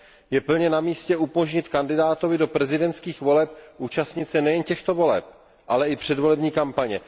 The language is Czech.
Je plně na místě umožnit kandidátovi do prezidentských voleb účastnit se nejen těchto voleb, ale i předvolební kampaně.